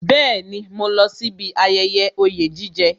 Bẹẹni, mo lọ sí bí ayẹyẹ oye jije